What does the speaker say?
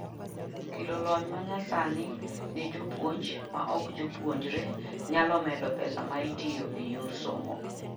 kelo lony manyasani ne jopuonj maok jopuonjre nyalo medo pesa maitiyo e yor somo